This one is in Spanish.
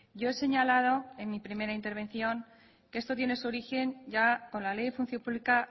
yo he señalado en mi primera intervención que esto tiene su origen ya con la ley de función pública